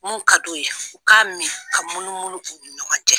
Mun ka d'u ye , u k'a min k'a munumunu u ni ɲɔgɔn cɛ!